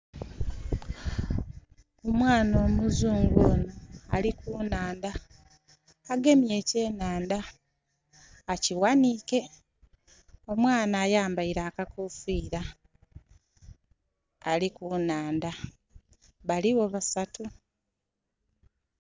Omwana omuzungu ono ali ku nhandha, agemye ekyenhandha akiwanike. Omwana ayambaire akakofiira. Ali ku nhandha. Baliwo basatu.